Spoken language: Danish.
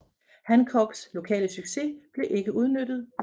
Hancocks lokale succes blev ikke udnyttet